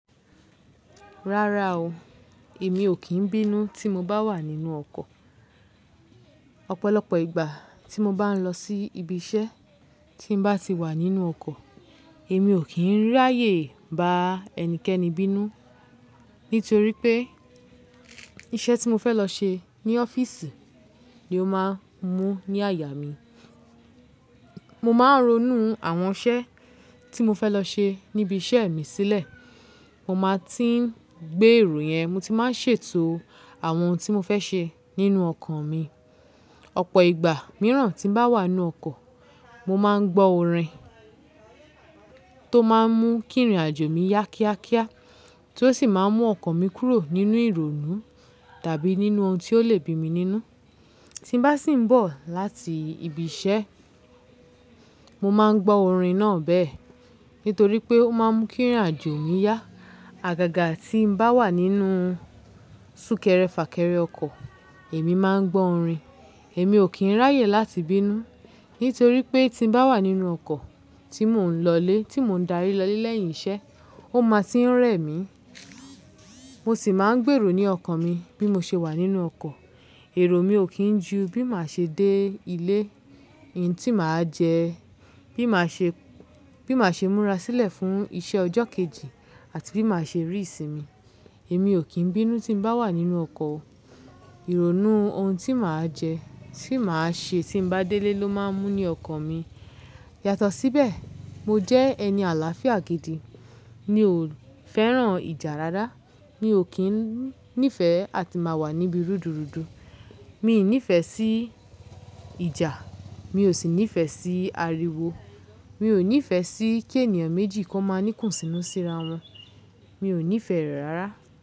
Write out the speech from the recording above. Rárá o, èmi ò kí ń bínú tí mo bá wà nínú ọkọ̀. Ọ̀pọ̀lọpọ̀ ìgbà tí mo bá ń lọ sí ibi iṣẹ́ tí ń bá ti wà nínú ọkọ̀, èmi ò kí ń ráyè bá ẹnikẹ́ni bínú. Nítorí pé iṣẹ́ tí mo fẹ́ lọ ṣe ní ọ́fíìsì ni ó máa ń mú ní àyà mi. Mo máa ń ronú àwọn iṣẹ́ tí mo fẹ́ lọ ṣe níbi iṣẹ́ mi sílẹ̀. Mo máa tí ń gbé èrò yẹn. Mo ti máa ń ṣètò àwọn ohun tí mo fẹ́ ṣe nínú ọkan mi. Ọ̀pọ̀ ìgbà mìíràn tí ń bá wà nínú ọkọ̀, mo máa ń gbọ́ orin tó máa ń mú kí ìrìnàjò mi yá kíákíá tí ó sì máa ń mú ọkan mi kúrò nínú ìrònú tàbí nínú ohun tí ó lè bí mi nínú. Tí ń bá sì ń bọ̀ láti ibi iṣẹ́, mo máa ń gbọ́ orin náà bẹ́ẹ̀. Nítorí pé ó máa ń mú kí ìrìnàjò mi yá. Àgàgà tí ń bá wà nínú súnkẹrẹ fàkẹrẹ ọkọ̀, èmi máa ń gbọ́ orin. Èmi ò kí ń ráyè láti bínú. Nítorí pé tí ń bá wà nínú ọkọ̀ tí mò ń lọlé, tí mò ń darí lọle lẹ́yìn iṣẹ́, ó máa ti ń rẹ̀ mí. Mo sì máa ń gbèrò ní ọkọ̀ mi bí mo ṣe wà nínú ọkọ̀. Èrò mi ò kí ń ju bí màá ṣe dé ilé, ohun tí màá jẹ, bí màá ṣe, bí màá ṣe múra sílẹ̀ fún iṣẹ́ ọjọ́ kejì àti bí màá ṣe rí ìsinmi. Èmi ò kí ń bínú tí ń bá wà nínú ọkọ̀. Ìrònú ohun tí màá jẹ, tí màá ṣe tí ń bá délé ló máa ń mú ní ọkọ̀ mi. Yàtọ̀ síbẹ̀, mo jẹ́ ẹni àlàáfíà gidi. Mi ò fẹ́ràn ìjà rárá. Mi ò kí ń nífẹ̀ẹ́ àti máa wà níbi rúdurùdu. Mi ò nífẹ̀ẹ́ sí ìjà, mi ò sì nífẹ̀ẹ́ sí ariwo. Mi ò nífẹ̀ẹ́ sí kí ènìyàn méjì kọ́ máa ní kùnsínú síra wọn. Mi ò nífẹ̀ẹ́ rẹ̀ rárá.